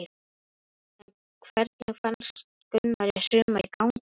En hvernig fannst Gunnari sumarið ganga?